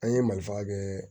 An ye malifa kɛ